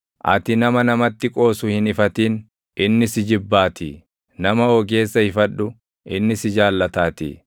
Ati nama namatti qoosu hin ifatin; inni si jibbaatii; nama ogeessa ifadhu; inni si jaallataatii.